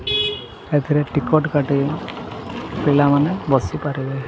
ଏଥିରେ ଟିକଟ କାଟି ପିଲାମାନେ ବସିପାରିବେ।